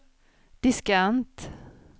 diskant